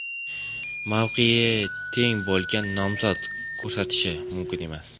Mavqeyi teng bo‘lganlar nomzod ko‘rsatishi mumkin emas.